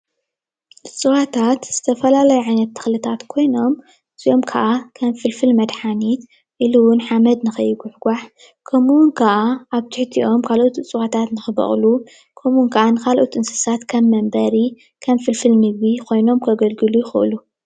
እጽዋታት ዝተፈላለዩ ዓይነት ተክልታት ኮይኖም እዚኦም ክዓ ከም ፍልፍል መድሓኒት ኢሉ እውን ሓመድ ንከይጉሕጋሕ ከመኡ እውን ክዓ ኣብ ትሕቲኦም ካልኦት እጽዋታት ንክ በቅሉ ከመኡ ክዓ ንካልኦት እንስሳታት ከም መንበሪ ከም ፍልፍል ምግቢ ኮይኖም ከገልጉሉ ይክእሉ።